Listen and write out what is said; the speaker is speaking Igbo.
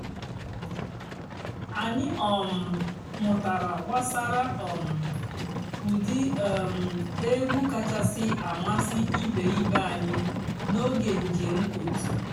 ányị́ um mụ́tárá gbàsàrà um ụ́dị́ um ègwú kàchàsị́ àmásị́ ìbé ìbé ànyị́ n'óge ǹjéém ótú.